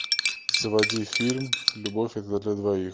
заводи фильм любовь это для двоих